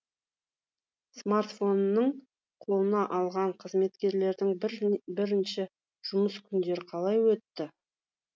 смартфонын қолына алған қызметкерлердің бірінші жұмыс күндері қалай өтті